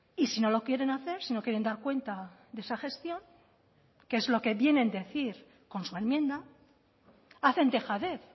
y si no lo quieren hacer si no quieren dar cuenta de esa gestión que es lo que vienen a decir con su enmienda hacen dejadez